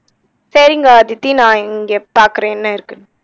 சரிங்க அதித்தி நா இங்கே பாக்குறேன் என்ன இருக்குன்னு